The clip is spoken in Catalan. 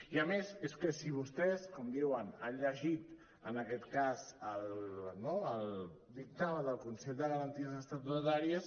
i a més és que si vostès com diuen han llegit en aquest cas el dictamen del consell de garanties estatutàries